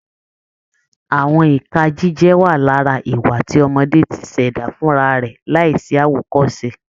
Àwọn ìka jíjẹ wà lára ìwà tí ọmọdé ti ṣẹ̀dá fún ra rẹ̀ láìsí àwòkọ́ṣe